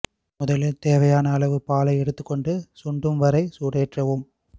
முதலில் தேவையான அளவில் பாலை எடுத்துக்கொண்டு சுருண்டும் வரை சூடேதேற்றவும்